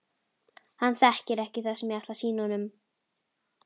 Hann þekkir ekki það sem ég ætla að sýna honum.